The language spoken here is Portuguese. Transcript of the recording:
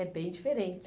É bem diferente.